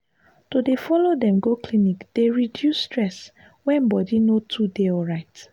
to dey follow dem go clinic dey reduce stress when body no too dey alright.